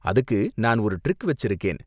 அதுக்கு நான் ஒரு ட்ரிக் வச்சிருக்கேன்.